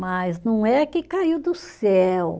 Mas não é que caiu do céu.